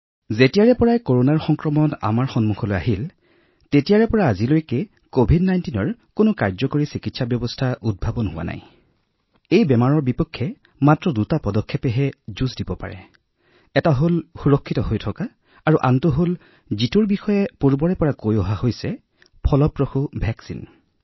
যিহেতু কৰোনাৰ সংক্ৰমণ পোহৰলৈ আহিছে আমাৰ ওচৰত কভিড ১৯ৰ বাবে কোনো কাৰ্যকৰী চিকিৎসা উপলব্ধ নাই আমি এই ৰোগৰ সৈতে মাত্ৰ দুটা বস্তুৰে যুঁজিব পাৰো এটা সুৰক্ষামূলক পদক্ষেপ আৰু আমি ইতিমধ্যে কৈ আহিছো যে যদি এটা কাৰ্যকৰী প্ৰতিষেধক আমাৰ ওচৰলৈ আহে তেন্তে ই আমাক এই ৰোগৰ পৰা আৰোগ্য কৰিব পাৰে